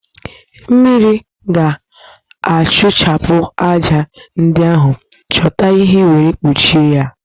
Mmiri ga-asụchapụ ájá ndi ahụ, chọta ihe were kpụchie ya